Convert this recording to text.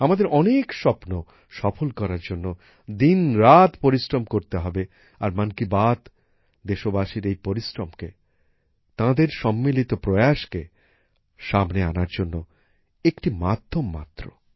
আমাদের অনেক স্বপ্ন সফল করার জন্য দিন রাত পরিশ্রম করতে হবে আর মন কি বাত দেশবাসীর এই পরিশ্রমকে তাদের সম্মিলিত প্রয়াসকে সামনে আনার জন্য একটি মাধ্যম মাত্র